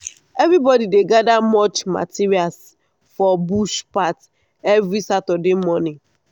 everybody dey gather mulch materials for bush path every saturday morning.